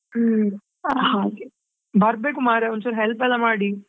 ಹ್ಮ್ ಹಾಗೆ ಬರ್ಬೇಕು ಮರ್ರೆ ಒಂದು ಚೂರು help ಎಲ್ಲಾ ಮಾಡಿ.